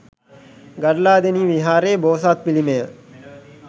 ගඩලාදෙණිය විහාරයේ බෝසත් පිළිමය